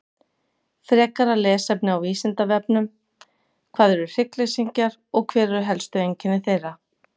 Frekara lesefni á Vísindavefnum: Hvað eru hryggleysingjar og hver eru helstu einkenni þeirra?